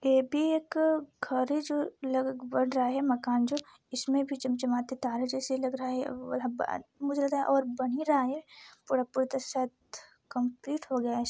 ये भी एक ख़ारिज लग बन रहा है मकान जो इसमें भी चमचमाते तारे जैसे लग रहे है मुझे लगा और बन ही रहा है कम्पलीट हो गया है।